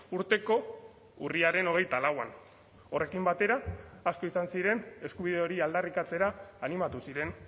urteko urriaren hogeita lauan horrekin batera asko izan ziren eskubide hori aldarrikatzera animatu ziren